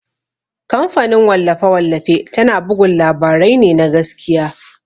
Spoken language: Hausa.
Kamfanin wallafe-wallafe tana bugun labarai ne na gaskiya.